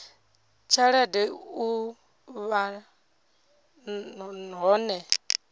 tshelede na u vha hone